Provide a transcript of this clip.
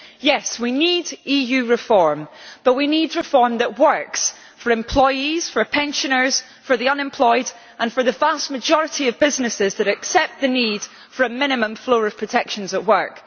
Yes, we need EU reform, but we need reform that works for employees, for pensioners, for the unemployed and for the vast majority of businesses, which accept the need for a minimum floor of protections at work.